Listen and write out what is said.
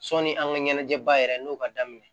Sɔni an ka ɲɛnajɛba yɛrɛ n'o ka daminɛ